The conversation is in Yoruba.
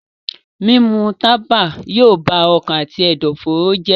Mímu tábà yóò bá ọkàn àti ẹ̀dọ̀fóró jẹ́.